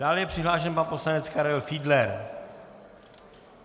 Dále je přihlášen pan poslanec Karel Fiedler.